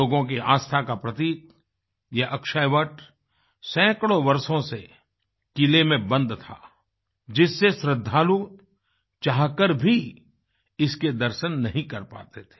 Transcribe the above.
लोगों की आस्था का प्रतीक यह अक्षयवट सैंकड़ों वर्षों से किले में बंद था जिससे श्रद्धालु चाहकर भी इसके दर्शन नहीं कर पाते थे